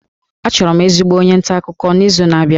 Achọrọ m ezigbo onye nta akụkọ n'izu na-abịa